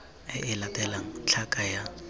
e e latelang tlhaka ya